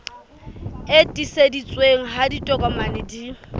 e tiiseditsweng ha ditokomane di